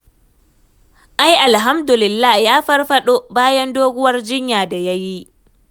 Ai alhamdulillah ya farfaɗo, bayan doguwar jinya da ya yi